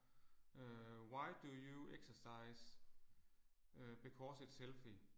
Øh why do you exercise? Øh because it's healthy